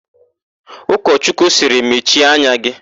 Ụkọchọchukwu sịrị, "mechie anya gị"!